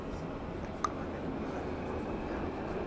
a qabana le mohanuwa ya